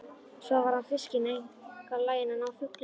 Svo var hann fiskinn og einkar laginn að ná fugli.